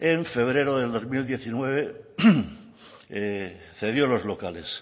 en febrero del dos mil diecinueve cedió los locales